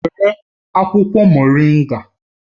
Were akwukwo Moringa